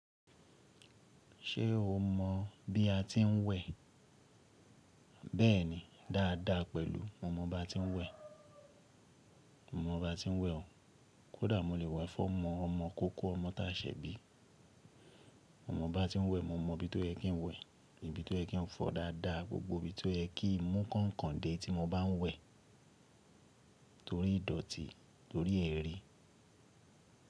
Ṣé o mọ bí a ti ń wẹ̀? Bẹ́ẹ̀ni, dáadáa pẹ̀lú mo mọ bá ti ń wẹ̀. Mo mọ bá ti ń wẹ̀ o. Kódà mo lè wẹ̀ fún ọmọ ọmọ kókó, ọmọ tá ṣẹ̀ bí. Mo mọ bá ti ń wẹ̀, mo mọ ibi tó yẹ kí n wẹ̀, ibi tó yẹ kí n fọ dáadáa, gbogbo ibi tó yẹ kí n mú kọ̀nkọ̀ǹ dé tí mo bá ń wẹ̀ torí ìdọ̀tí, torí ẹrí.